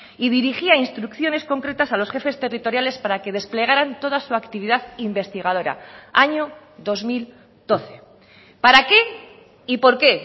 y dirigía instrucciones concretas a los jefes territoriales para que desplegaran toda su actividad investigadora año dos mil doce para qué y por qué